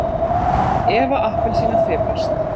Eva appelsína fipast.